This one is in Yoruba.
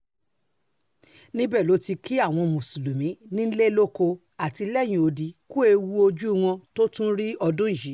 níbẹ̀ ló ti kí àwọn mùsùlùmí nílé lóko àti lẹ́yìn odi ku ẹ̀wù ojú wọn tó tún rí ọdún yìí